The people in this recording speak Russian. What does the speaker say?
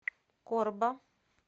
корба